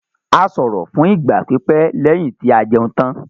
A sọ̀rọ̀ fún ìgbà pípẹ́ lẹ́yìn tí a jẹun tán.